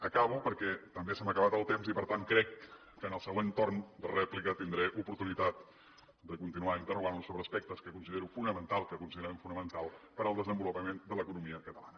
acabo perquè també se m’ha acabat el temps i per tant crec que en el següent torn de rèplica tindré oportunitat de continuar interrogant lo sobre aspectes que considero fonamentals que considerem fonamentals per al desenvolupament de l’economia catalana